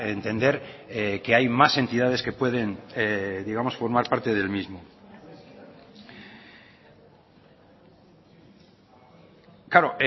entender que hay más entidades que pueden digamos formar parte del mismo claro